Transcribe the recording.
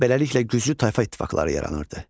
Beləliklə güclü tayfa ittifaqları yaranırdı.